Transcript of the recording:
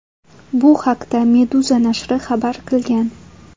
Bu haqda Meduza nashri xabar qilgan .